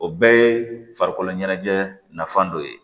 O bɛɛ ye farikolo ɲɛnajɛ nafan dɔ ye